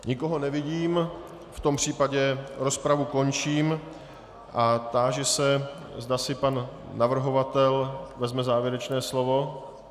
Nikoho nevidím, v tom případě rozpravu končím a táži se, zda si pan navrhovatel vezme závěrečné slovo.